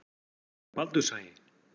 Baldurshagi